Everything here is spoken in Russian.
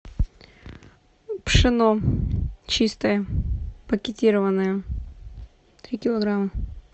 пшено чистое пакетированное три килограмма